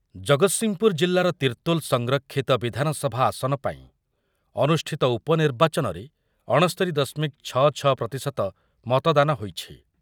ଜଗତସିଂହପୁର ଜିଲ୍ଲାର ତିର୍ତ୍ତୋଲ ସଂରକ୍ଷିତ ବିଧାନସଭା ଆସନ ପାଇଁ ଅନୁଷ୍ଠିତ ଉପନିର୍ବାଚନରେ ଅଣସ୍ତୋରି ଦଶମିକ ଛ ଛ ପ୍ରତିଶତ ମତଦାନ ହୋଇଛି।